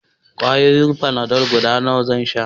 Ƙwayoyin fanadol guda nawa zan sha?